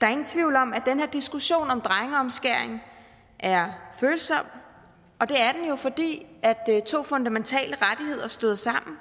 er ingen tvivl om at her diskussion om drengeomskæring er følsom og det er den jo fordi to fundamentale rettigheder støder sammen